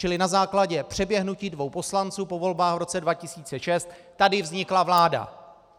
Čili na základě přeběhnutí dvou poslanců po volbách v roce 2006 tady vznikla vláda!